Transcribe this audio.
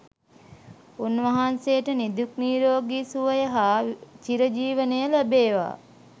උන්වහන්සේට නිදුක් නිරෝගී සුවය හා චිරජීවනය ලැබේවා.